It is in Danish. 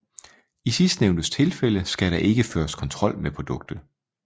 I sidstnævnte tilfælde skal der ikke føres kontrol med produktet